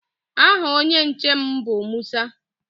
Aha onye nche m bụ Musa.